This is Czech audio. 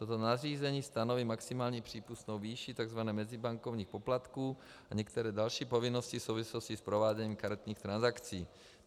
Toto nařízení stanoví maximální přípustnou výši tzv. mezibankovních poplatků a některé další povinnosti v souvislosti s prováděním karetních transakcí.